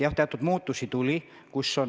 Jah, teatud muutusi tuli.